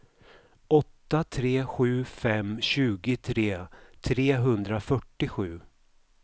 åtta tre sju fem tjugotre trehundrafyrtiosju